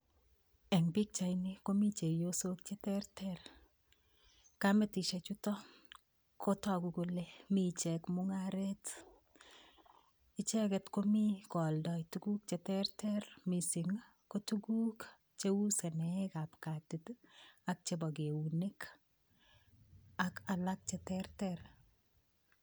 Eng' pikchaini komi chepyosok cheterter kametishe chuto kotoku kole mi ichek mung'aret icheget ko mi kooldoi tukuk cheterter mising' ko tukuk cheu seneekab katit ak chebo keunek ak alak cheterter